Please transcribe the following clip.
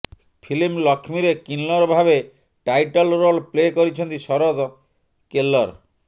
film ଲକ୍ଷ୍ମୀରେ କିନ୍ନର ଭାବେ ଟାଇଟଲ ରୋଲ୍ ପ୍ଲେ କରିଛନ୍ତି ଶରଦ କେଲ୍କର୍